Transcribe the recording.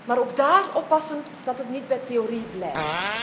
Maar ook daar moeten wij oppassen dat het niet bij theorie blijft.